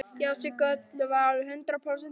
Já, Siggi Öddu var alveg hundrað prósent viss.